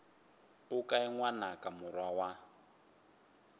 o kae ngwanaka morwa wa